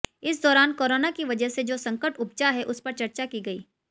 इस दौरान कोरोना की वजह से जो संकट उपजा है उस पर चर्चा की गई